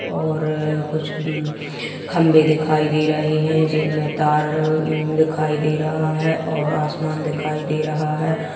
और कुछ म खंभे दिखाई दे रहे है जिनमे तार अ दिखाई दे रहा है और आसमान दिखाई दे रहा है।